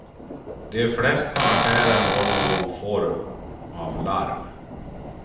De flesta affärer har någon form av larm.